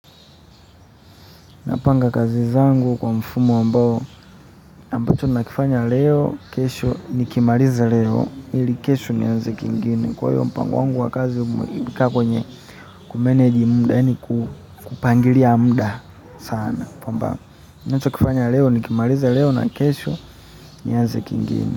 Napanga kazi zangu kwa mfumo ambayo, ambacho nakifanya leo, kesho, nikimaliza leo, ili kesho nianze kingine. Kwa hiyo mpango wangu wa kazi umibika kwenye kumeneji muda, yaani kupangiria muda sana. Kwamba, ninacho kifanya leo, nikimaliza leo na kesho, nianze kingine.